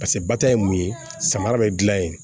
Paseke bata ye mun ye samara bɛ dilan yen